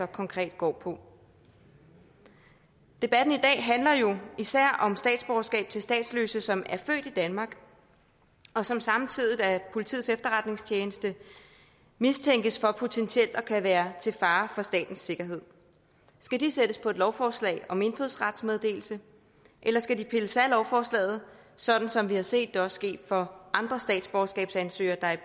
konkret går på debatten i dag handler jo især om statsborgerskab til statsløse som er født i danmark og som samtidig af politiets efterretningstjeneste mistænkes for potentielt at kunne være til fare for statens sikkerhed skal de sættes på et lovforslag om indfødsrets meddelelse eller skal de pilles af lovforslaget sådan som vi har set det også er sket for andre statsborgerskabsansøgere der er